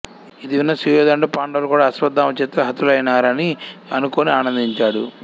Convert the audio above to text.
ఇది విన్న సుయోధనుడు పాండవులు కూడా అశ్వత్థామ చేతిలో హతులైనారని అనుకుని ఆనందించాడు